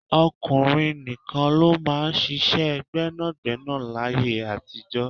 Ọkùnrin nìkan ló máa ń ṣíṣe gbẹ́nàgbẹ́nà láyé àtijó.